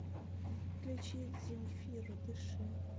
включи земфиру дыши